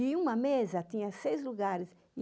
E uma mesa tinha seis lugares.